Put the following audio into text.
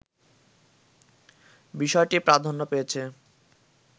বিষয়টি প্রাধান্য পেয়েছে